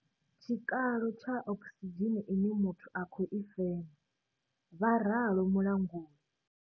Tshikalo tsha okisidzheni ine muthu a khou i fema, vha ralo Mulanguli.